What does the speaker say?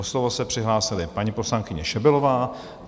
O slovo se přihlásila paní poslankyně Šebelová.